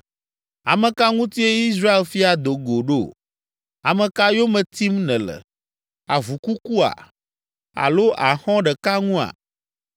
“Ame ka ŋutie Israel fia do go ɖo? Ame ka yome tim nèle? Avu kukua? Alo axɔ̃ ɖeka ŋua?